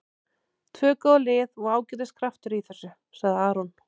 Tvö góð lið og ágætis kraftur í þessu, sagði Aron.